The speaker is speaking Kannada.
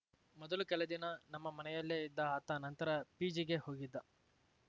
ಮೊದಲು ಕೆಲ ದಿನ ನಮ್ಮ ಮನೆಯಲ್ಲೇ ಇದ್ದ ಆತ ನಂತರ ಪಿಜಿಗೆ ಹೋಗಿದ್ದ